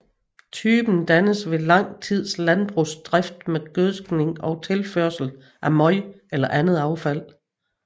Typen dannes ved lang tids landbrugsdrift med gødskning og tilførsel af møg eller andet affald